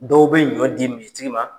Dɔw be ɲɔ di misiitigi ma